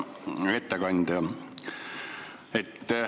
Hea ettekandja!